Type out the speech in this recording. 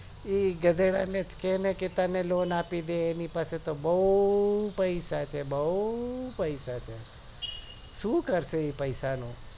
એ ગધેડા ને જ કે ને તને loan અપીડે એને પાસે તો બૌ પૈસા છે બઉ પૈસા છે શું કરશે એ પૈસા નું